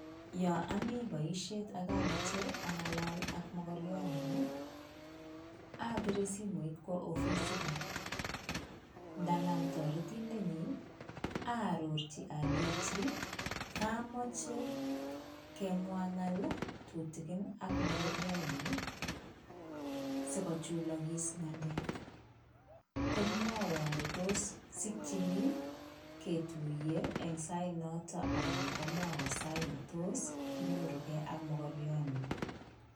Yon omi boisiet ak amoche ang'alal ak mokorionyun, abire simoit kwo ofisit nyin, ngonam toretindenyi aarorchi alenji komoche amwa ng'alek tutigin ak mokorionyun sikochulokis ng'alek, komwowon kole tos sikyin keng'alal en sait noton anan komwowon sait netos kinyorugei ak mokorionyun.